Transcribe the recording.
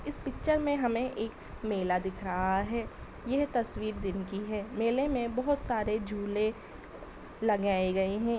इस पिक्चर में हमें एक मेला दिख रहा है। यह तस्वीर दिन की है। मेले में बहोत सारे झूले लगाए गए हैं।